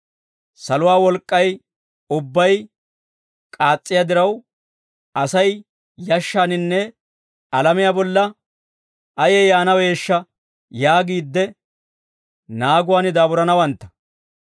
Saluwaa wolk'k'ay ubbay k'aas's'iyaa diraw Asay yashshaaninne alamiyaa bolla ayee yaanaweeshsha yaagiidde naaguwaan daaburanawantta.